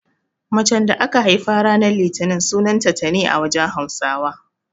Macen da aka haifa ranan litini sunanta Tani a wajen Hausawa.